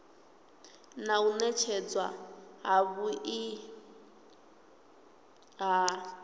na u nekedzwa havhui ha